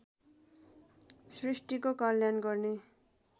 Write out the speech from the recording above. सृष्टिको कल्याण गर्ने